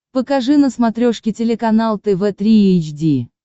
покажи на смотрешке телеканал тв три эйч ди